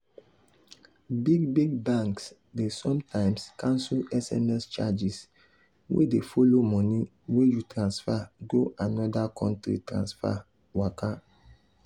big big banks dey sometimes cancel sms charges wey dey follow mone wey you transfer go another country transfer waka.